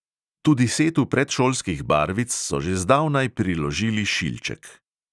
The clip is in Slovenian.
Tudi setu predšolskih barvic so že zdavnaj priložili šilček.